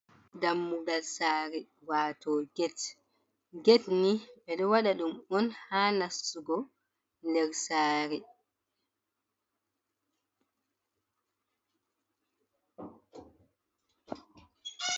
Dammugal saare waato get, get ni ɓe ɗo waɗa ɗum on, haa nastugo nder saare.